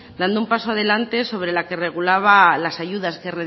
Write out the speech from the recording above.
dando un paso adelante sobre la que regulaba las ayudas que